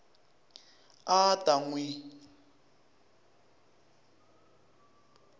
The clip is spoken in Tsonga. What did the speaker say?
a a ta n wi